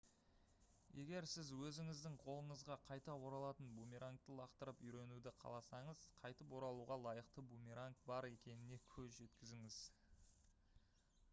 егер сіз өзіңіздің қолыңызға қайта оралатын бумерангты лақтырып үйренуді қаласаңыз қайтып оралуға лайықты бумеранг бар екеніне көз жеткізіңіз